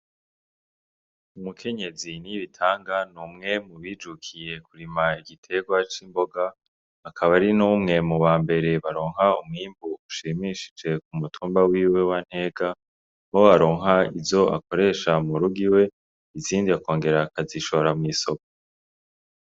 Umukenyezi Nibitanga n'umwe mubijukiye kurima igiterwa c'imboga, akaba ari n'umwe mubambere baronka umwimbu ushimishije k'umutumba wiwe wa Ntega ,aho aronka izo akoresha murugo iwe, izindi akongera akazishora mw'isoko.